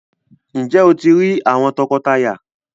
Njé o ti rí àwòn tọkọtaya?